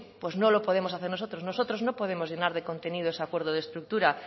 no lo podemos hacer nosotros nosotros no podemos llenar de contenido ese acuerdo de estructura